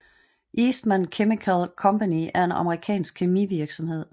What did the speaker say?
Eastman Chemical Company er en amerikansk kemivirksomhed